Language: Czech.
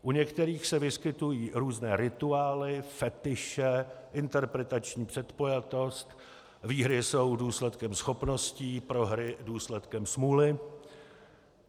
U některých se vyskytují různé rituály, fetiše, interpretační předpojatost: výhry jsou důsledkem schopností, prohry důsledkem smůly;